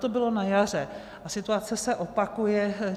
To bylo na jaře a situace se opakuje.